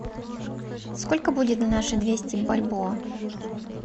сколько будет на наши двести бальбоа